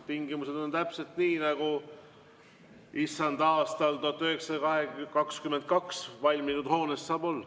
Tingimused on täpselt nii nagu Issanda aastal 1922 valminud hoones saavad olla.